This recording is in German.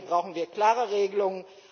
Hier brauchen wir klare Regelungen.